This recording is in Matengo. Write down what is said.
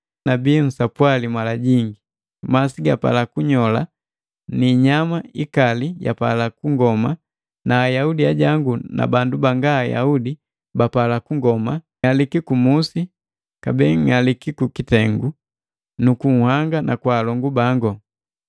nabii nsapwali mala jingi. Masi gapala kunyola na inyama ikali yapala kungoma na Ayaudi ajangu na bandu banga Ayaudi bapala kungoma, ng'aliki kumusi nu kung'alika kukitengu nu kunhanga na kwa alongu bangu.